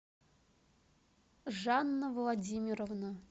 жанна владимировна